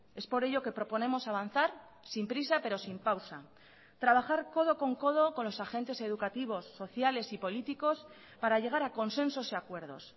es por ello que proponemos avanzar sin prisa pero sin pausa trabajar codo con codo con los agentes educativos sociales y políticos para llegar a consensos y acuerdos